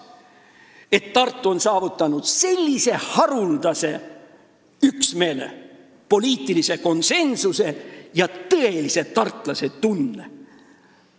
Nüüd on Tartu saavutanud sellise haruldase üksmeele, poliitilise konsensuse, seal on tekkinud tõeline tartlase tunne.